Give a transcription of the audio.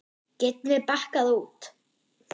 Getum við bakkað út?